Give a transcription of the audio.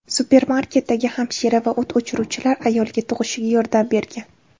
Supermarketdagi hamshira va o‘t o‘chiruvchilar ayolga tug‘ishiga yordam bergan.